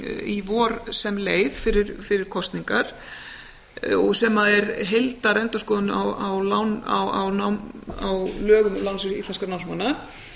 í vor sem leið fyrir kosningar og sem er heildarendurskoðun á lögum um lánasjóð íslenskra námsmanna